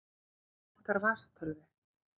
Mig vantar vasatölvu.